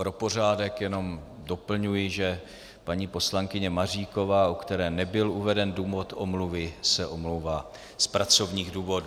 Pro pořádek jenom doplňuji, že paní poslankyně Maříková, u které nebyl uveden důvod omluvy, se omlouvá z pracovních důvodů.